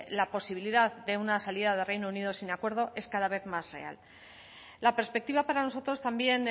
la posibilidad de una salida de reino unido sin acuerdo es cada vez más real la perspectiva para nosotros también